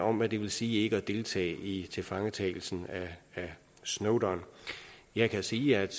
om hvad det vil sige ikke at deltage i tilfangetagelsen af snowden jeg kan sige at